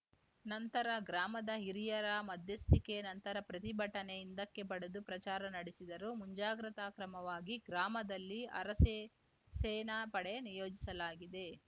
ನಂತರ ಗ್ರಾಮದ ಹಿರಿಯರ ಮಧ್ಯಸ್ಥಿಕೆ ನಂತರ ಪ್ರತಿಭಟನೆ ಹಿಂದಕ್ಕೆ ಪಡೆದು ಪ್ರಚಾರ ನಡೆಸಿದರು ಮುಂಜಾಗ್ರತಾ ಕ್ರಮವಾಗಿ ಗ್ರಾಮದಲ್ಲಿ ಅರಸೇ ಸೇನಾ ಪಡೆ ನಿಯೋಜಿಸಲಾಗಿದೆ